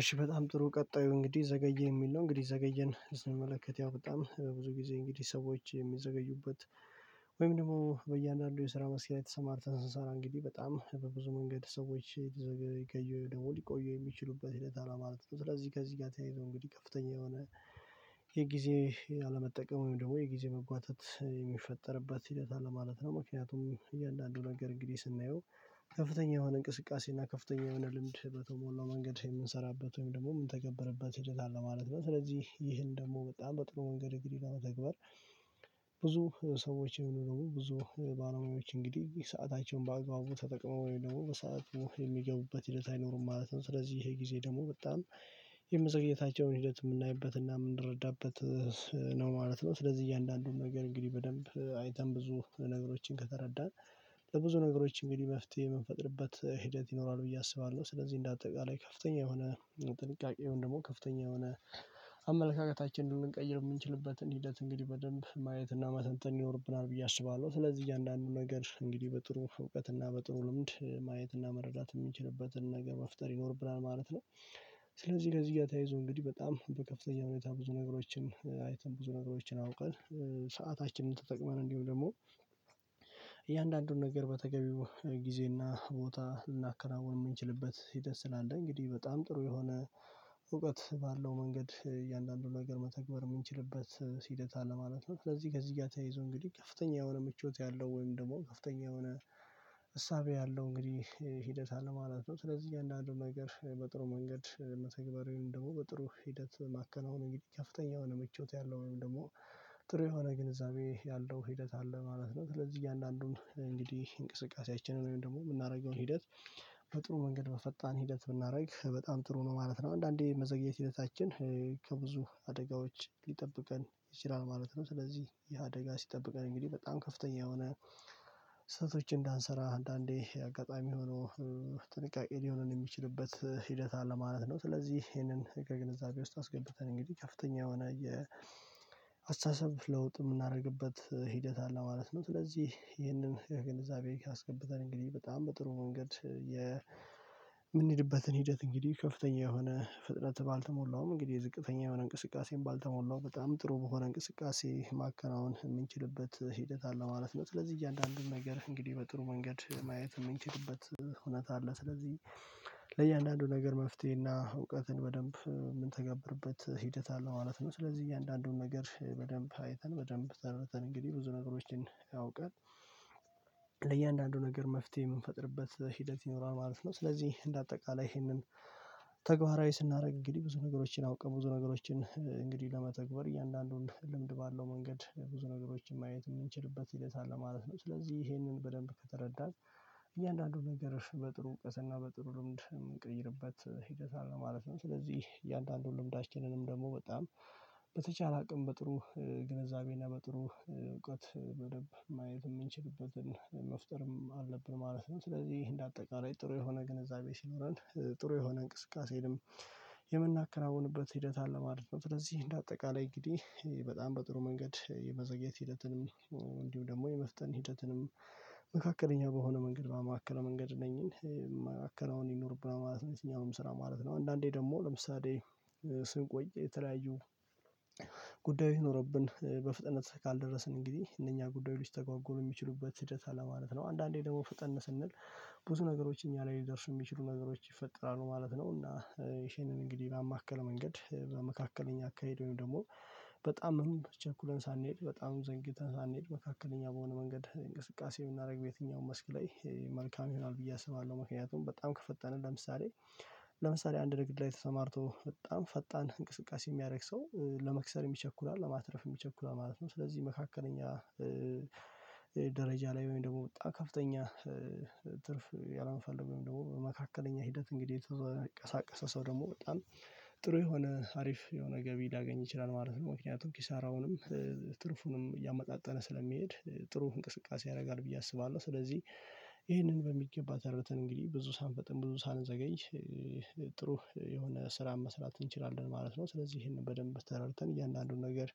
እሺ በጣም ጥሩ ቀጣዩ እንግዲህ ዘገየን የሚል ነው። እንግዲህ ዘገየን ስንመለከት ያው በጣም ብዙ ጊዜ እንግዲህ ሰዎች የሚዘገዩበት ወይም ደግሞ በእያንዳንዱ የስራ መስኪ ላይ የተሰማር ስንሰራ እንግዲህ በጣም በብዙ መንገድ ሰዎች ልዘገዩ ደግሞ ሊቆዩ የሚችሉበት ሂደት አለ ማለት ነው። ስለዚህ ከዚህ ጋር ተያይዞ እንግዲህ ከፍተኛ የሆነ የጊዜ አለመጠቀም ወይም ደግሞ የጊዜ መጓተት የሚፈጠርበት ሕደት አለ ማለት ነው። ምክንያቱም እያንዳንዱ ነገር እንግዲህ ስናየው ከፍተኛ የሆነ እንቅስቃሴ እና ከፍተኛ የሆነ ልምድ በተሞላው መንገድ የምንሰራበት ወይም ደግሞ የምንተገበርበት ሂደት አለ ማለት ነው። ስለዚህ ይህን ደግሞ በጣም በጥሩ መንገድ እንግዲህ ለመተግበር ብዙ ሰዎች የሚኖሩ ብዙ ባለሙያዎች እንግዲህ ሰአታቸውን ባአግባቡ ተጠቅመው ወይም ደግሞ በሰአቱ የሚገቡበት ሂደት አይኖሩም ማለት ነው። ስለዚህ ይሄ ጊዜ ደግሞ በጣም የመዘግይታቸውን ሂደት የምናይበትና የምንረዳበት ነው ማለት ነው። ስለዚህ እያንዳንዱን ነገር እንግዲህ በደንብ አይተን ብዙ ነገሮችን ከተረዳን ለብዙ ነገሮች እንግዲህ መፍትሄ የምንፈጥርበት ሂደት ይኖራል ብዬ አስባለሁ። ስለዚህ እንደ አጠቃላይ ከፍተኛ የሆነ ጥንቃቄ ደግሞ ከፍተኛ የሆነ አመለካከታችንን ልንቀይር የምንችልበትን ሂደት እንግዲህ በደንብ ማየትና መተንተን ይኖርብናል ብዬ አስባለሁ። ስለዚህ እያንዳንዱ ነገር እንግዲህ በጥሩ እውቀት እና በጥሩ ልምድ ማየት እና መረዳት የሚንችልበትን ነገር መፍጠር ይኖርብናል ማለት ነው። ስለዚህ ከዚህ ጋር ተያይዞ እንግዲህ በጣም በከፍተኛ ሁኔታ ብዙ ነገሮችን አይተን ብዙ ነገሮችን አውቀን ሰአታችንን ተጠቅመን እንዲሁም ደግሞ እያንዳንዱን ነገር በተገቢው ጊዜና ቦታ ልናከናውን የምንችልበት ሕደት ስላለ እንግዲህ በጣም ጥሩ የሆነ እውቀት ባለው መንገድ እያንዳንዱ ነገር መተግበር የምንችልበት ሕደት ለማለት ነው። ስለዚህ ከዚህ ጋር ተያይዞ እንግዲህ ከፍተኛ የሆነ ምቾት ያለው ወይም ደግሞ ከፍተኛ የሆነ እሳቤ ያለው እንግዲህ ሂደት አለ ማለት ነው። ስለዚህ እያንዳንድ ነገር በጥሩ መንገድ መተግበር ወይም ደግሞ በጥሩ ሂደት ማከናወን እንግዲህ ከፍተኛ የሆነ መቾት ያለው ወይም ደግሞ ጥሩ የሆነ ግንዛቤ ያለው ሂደት አለ ማለት ነው። ስለዚህ እያንዳንዱን እንግዲህ እንቅስቃሴያችንን ወይም ደግሞ የምናደርገውን ሂደት በጥሩ መንገድ በፈጣን ሂደት ብናደርግ በጣም ጥሩ ነው ማለት ነው። አንዳንዴ መዘግየት ሕደታችን ከብዙ አደጋዎች ሊጠብቀን ይችላል ማለት ነው። ስለዚህ ይሄ አደጋ ሲጠብቀን እንግዲህ በጣም ከፍተኛ የሆነ ስህተቶች እንዳንሰራ አንዳንዴ አጋጣሚ ሆኖ ጥንቃቄ ሊሆንን የሚችልበት ሂደት አለ ማለት ነው። ስለዚህ ይሄንን ህገ ግንዛቤ ውስጥ አስገብተን እንግዲህ ከፍተኛ የሆነ የአስተሳሰብ ለውጥ የምናደርግበት ሂደት አለ ማለት ነው። ስለዚህ ይህንን ከግንዛቤ አስገብተን እንግዲህ በጣም በጥሩ መንገድ የምንሄድበትን ሂደት እንግዲህ ከፍተኛ የሆነ ፍጥነት ባልተሞላውም እንግዲህ የዝቅተኛ የሆነ እንቅስቃሴን ባልተሞላው በጣም ጥሩ በሆነ እንቅስቃሴ ማከናወን የምንችልበት ሂደት አለ ማለት ነው። ስለዚህ እያንዳንዱን ነገር እንግዲህ በጥሩ መንገድ ማየት የምንችልበት እውነት አለ ስለዚህ ለእያንዳንዱ ነገር መፍትሄና እውቀትን በደንብ የምንተገብርበት ሂደት አለው ማለት ነው። ስለዚህ እያንዳንዱን ነገር በደንብ አይተን በደንብ ተረድተን እንግዲህ ብዙ ነገሮችን አውቃን ለእያንዳንዱ ነገር መፍትሄ የምንፈጥርበት ሂደት ይኖራል ማለት ነው። ስለዚህ እንደ አጠቃላይ ይሄንን ተግባራዊ ስናደርግ እንግዲህ ብዙ ነገሮችን አውቀን ብዙ ነገሮችን እንግዲህ ለመተግበር እያንዳንዱን ልምድ ባለው መንገድ ብዙ ነገሮችን ማየት የምንችልበት ሕደት አለ ማለት ነው። ስለዚህ ይሄንን በደንብ ከተረዳን እያንዳንዱ ነገር በጥሩ እዉቀት ና በጥሩ ልምድ እንቀይርበት ሕደት አለ ማለት ነው። ስለዚህ እያንዳንዱን ልምዳችንንም ደግሞ በጣም በተቻለ አቅም በጥሩ ግንዛቤና በጥሩ እውቀት በደንብ ማየት የምንችልበትን መፍጠርም አለብን ማለት ነው። ስለዚህ እንደ አጠቃላይ ጥሩ የሆነ ግንዛቤ ሲኖረን ጥሩ የሆነ እንቅስቃሴንም የምናከናውንበት ሂደት አለ ማለት ነው። ስለዚህ እንደ አጠቃላይ እንግዲህ በጣም በጥሩ መንገድ የመዘግየት ሂደትንም እንድሁም ደግም የመፍጠን ሂደትንም መካከለኛ በሆነ መንገድ ባማከለ መንገድ እነኝን ማከናወን ይኖርብና ማለት ነው። የትኛውም ስራ ማለት ነው አንዳንዴ ደግሞ ለምሳሌ ስንቆይ የተለያዩ ጉዳይ ኖሮብን በፍጥነት ካልደረስን እንግዲህ እነኛ ጉዳዩች ሊስተጓጎሉ የሚችሉበት ሕደት አለ ማለት ነው። አንዳንዴ ደግሞ ፈጠን ስንል ብዙ ነገሮች እኛ ላይ ሊደርሱ የሚችሉ ነገሮች ይፈጠራሉ ማለት ነው። እና ይሄንን እንግዲህ በማከል መንገድ በመካከለኛ አካሄደን ወይም ደግሞ በጣምም ቸኩለን ሳንሄድ በጣም ዘንጊተን ሳንሄድ መካከለኛ በሆነ መንገድ እንቅስቃሴ የምናደርግ በየትኛውም መስክ ላይ መልካም ይሆናል ብዬ አስባለሁ። ምክንያቱም በጣም ከፈጠነ ለምሳሌ ለምሳሌ አንድ ንግድ ላይ ተሰማርቶ በጣም ፈጣን እንቅስቃሴ የሚያደርግ ሰው ለመክሰር ይቸኩላል ለማትረፍ ይቸኩላል ማለት ነው። ስለዚህ መካከለኛ ደረጃ ላይ ወይም ደግሞ በጣም ከፍተኛ ትርፍ ያላመፈለገው ወይም ደግሞ መካከለኛ ሂደት እንግዲህ የተንቀሳቀሰ ሰው ደግሞ በጣም ጥሩ የሆነ አሪፍ የሆነ ገቢ ልያገኝ ይችላል ማለት ነው። ምክንያቱም ኪሳራውንም ትርፉንም እያመጣጠነ ስለሚሄድ ጥሩ እንቅስቃሴ ያደርጋል ብዬ አስባለሁ። ስለዚህ ይሄንን በሚገባ ተረተን እንግዲህ ብዙ ሳንፈጥን ብዙ ሳንዘገኝ ጥሩ የሆነ ስራ መስራት እንችላለን ማለት ነው። ስለዚህ ይሄንን በደንብ ተረድተን እያንዳንዱን ነገር